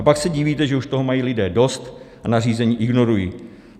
A pak se divíte, že už toho mají lidé dost a nařízení ignorují.